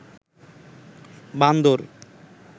বান্দর